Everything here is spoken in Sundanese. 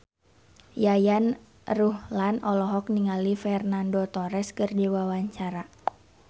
Yayan Ruhlan olohok ningali Fernando Torres keur diwawancara